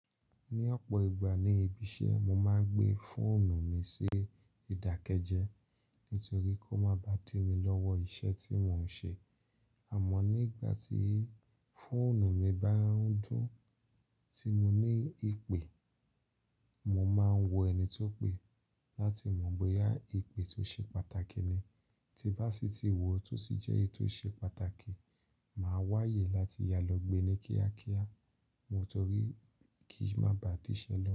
Ní ọ̀pọ̀ ìgbà ní ibi iṣẹ́ mo máa ń gbé fóònù mi sí ìdákẹ́jẹ́ nítorí kó máa bàá dí mi lọ́wọ́ iṣẹ́ tí mo ń ṣe. Àmọ́ nígbà tí fóònù mi bá ń dún tí mo ní ìpè, mo máa ń wọ ẹni tó ń pè láti mọ̀ bóyá ìpè tó ṣe pàtàkì ni. Tí bá sì ti wọ̀, tó sì jẹ́ èyí tó ṣe pàtàkì, màá wáyè láti yà lọ gbé ní kíákíá mo torí kí í má bá di ṣẹlẹ̀